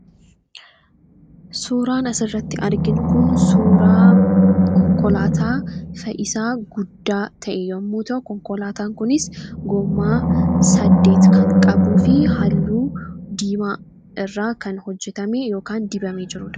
Suuraan asirratti arginu kun suuraa konkolaataa fe'isaa guddaa ta'e yommuu ta'u, konkolaataan kunis gommaa saddet kan qabuu fi halluu diimaa irraa kan hojjatame yookaan dibamee jirudha.